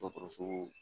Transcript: Dɔgɔtɔrɔso